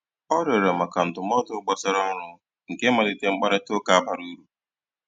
Ọ rịọ̀rọ̀ maka ndụ́mọ̀dụ́ gbàsàrà ọ́rụ́, nkè malìterè mkpáịrịtà ụ́ka bàrà úrù.